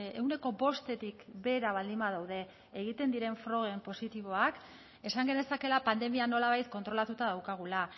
ehuneko bostetik behera baldin badaude egiten diren proben positiboak esan genezakeela pandemia nolabait kontrolatuta daukagula